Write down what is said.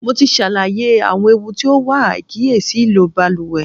Mo ti ṣàlàyé àwọn ewu tí ó wà àìkíyèsí ìlò baluwẹ̀.